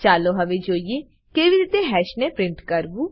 ચાલો હવે જોઈએ કેવી રીતે હાશ ને પ્રિન્ટ કરવું